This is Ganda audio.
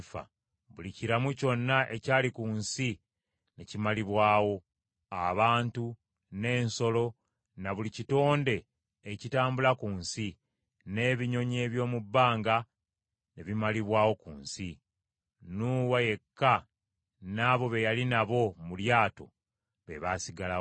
Buli kiramu kyonna ekyali ku nsi ne kimalibwawo: abantu, n’ensolo, na buli kitonde ekitambula ku nsi, n’ebinyonyi eby’omu bbanga ne bimalibwawo ku nsi. Nuuwa yekka n’abo be yali nabo mu lyato be baasigalawo.